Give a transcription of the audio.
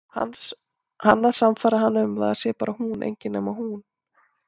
Hann að sannfæra hana um að það sé bara hún, engin nema hún.